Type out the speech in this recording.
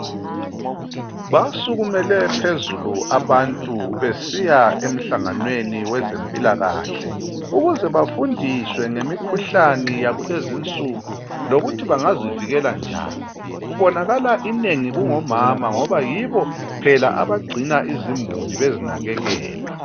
Basukumele phezulu abantu besiya emhlanganweni weze mpilakahle, ukuze bafundiswe ngemikhuhlane yakulezi insuku lokuthi bangazivikela njani, kubonakala inengi kungomama ngoba yibo phela abagcina izimuli bezinakekela.